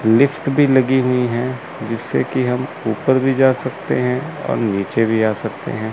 Lift भी लगी हुई हैं जिससे कि हम ऊपर भी जा सकते हैं और नीचे भी आ सकते हैं।